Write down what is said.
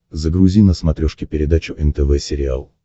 загрузи на смотрешке передачу нтв сериал